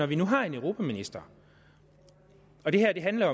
vi nu har en europaminister og det her handler